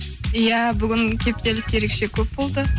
иә бүгін кептеліс ерекше көп болды